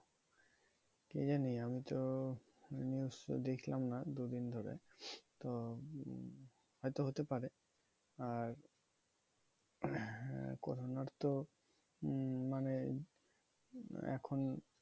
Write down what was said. কি জানি আমি তো news তো দেখলাম না দুদিন ধরে। তো উম হয়তো হতে পারে। আর corona র তো উম মানে এখন